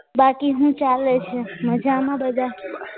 બાકી હું ચાલે છે મજામાં બધા?